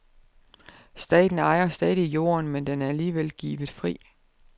Staten ejer stadig jorden, men den er alligevel givet fri.